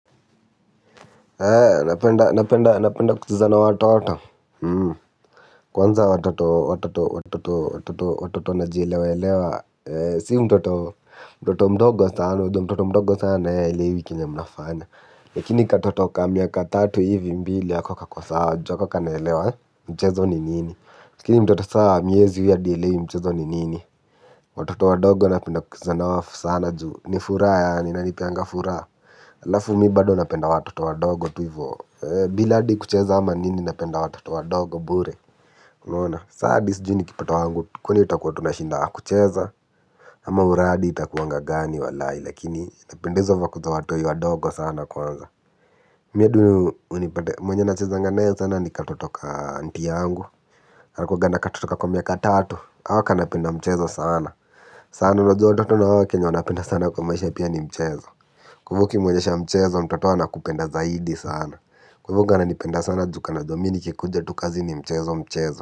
Napenda napenda napenda napenda kucheza na watoto kwanza watoto watoto watoto watoto watoto watoto watoto najielewa elewa ee si mtoto mtoto mdogo sana unajuo mtoto mdogo sana aelewi kenye mnafanya lakini katoto kamiaka tatu hivi mbili ako kako sawa ju ako kanelewa mchezo ni nini lakini mtoto saa miezi hadi haelewi mchezo ni nini watoto wadogo napenda kucheza na wao sana juu ni furaha yaani inanipeanga furaha. Alafu mibado napenda watoto wadogo tu ivo bila hadi kucheza ama nini napenda watoto wadogo bure unaona saa hadi sijui nikipata wangu kwani tutakuwa tunashinda kucheza ama uradi itakuwanga gani walai lakini napenda hizo vako za watoi wadogo sana kwanza mi hadi unipate mwenye nachezanga na yeye sana ni katoto ka anti yangu. Anakuanga na katoto kako miaka tatu. Hako kanapenda mchezo sana sana unajua watoto na wao kenye wanapenda sana kwa maisha pia ni mchezo kwa ivo ukimwonyesha mchezo mtoto anakupenda zaidi sana. Kwa ivo kananipenda sana ju kanajua mi nikikuja tu kazi ni mchezo mchezo.